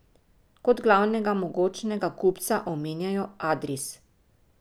Kot glavnega mogočega kupca omenjajo Adris.